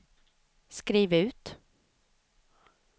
skriv ut